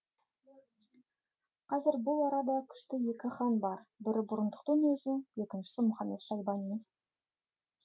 қазір бұл арада күшті екі хан бар бірі бұрындықтың өзі екіншісі мұхамет шайбани